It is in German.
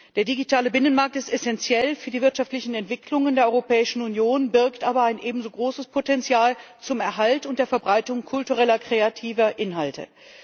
Der digitale Binnenmarkt ist essentiell für die wirtschaftliche Entwicklung der Europäischen Union, birgt aber ein ebenso großes Potenzial zum Erhalt und zur Verbreitung kultureller kreativer Inhalte.